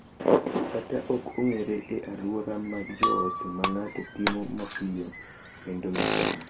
Kata ok ong’ere e alwora mag joot ma ng’ato timo mapiyo kendo ma sani.